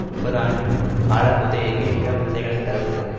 முப்பதுஆண்டு கால குத்தகைக்கு நிலம் விவசாயிகளுக்கு தரப்பட்டது